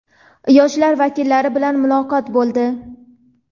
yoshlar vakillari bilan muloqot bo‘ldi.